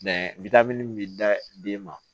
witamini bɛ da den ma